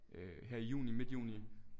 Øh her i juni midt juni